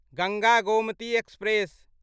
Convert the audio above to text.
Ganga Gomti express